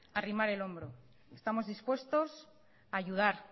a arrimar el hombro estamos dispuestos a ayudar